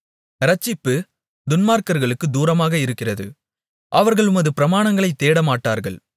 இரட்சிப்பு துன்மார்க்கர்களுக்குத் தூரமாக இருக்கிறது அவர்கள் உமது பிரமாணங்களைத் தேடமாட்டார்கள்